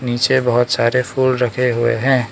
नीचे बहोत सारे फूल रखें हुए हैं।